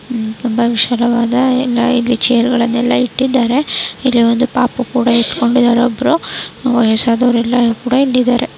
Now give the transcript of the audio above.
ತುಂಬಾ ವಿಶಾಲವಾದ ಎಲ್ಲಾ ಚೇರ್ ಗಳನ್ನೆಲ್ಲಾ ಇಟ್ಟಿಇಲ್ಲಿ ಒಂದು ಪಾಪು ಕೂಡ ಇಡಕೊಂಡಿದ್ದಾರೆ ಒಬ್ಬರು ಎಲ್ಲರು ನಿಂತಿದ್ದಾರೆ.